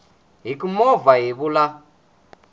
hi ku movha hi vula